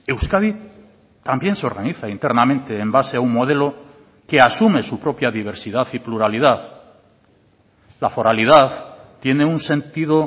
euskadi también se organiza internamente en base a un modelo que asume su propia diversidad y pluralidad la foralidad tiene un sentido